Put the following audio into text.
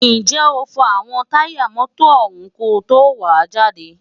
ǹjẹ́ o fọ àwọn táyà mọ́tọ̀ ọ̀hún ko tó wàá jáde?